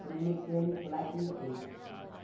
Foi um mecânico lá que me fez.